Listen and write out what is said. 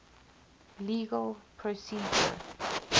legal procedure